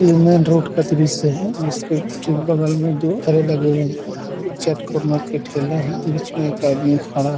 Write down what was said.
ये main road का दृश्य है बगल में दो ठेले लगे हुए है ये चैट कॉर्नर का ठेला हैबीच में एक आदमी खड़ा--